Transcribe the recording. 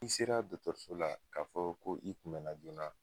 I sera dɔkɔtɔrɔso la k'a fɔ, ko i kun mɛnna joona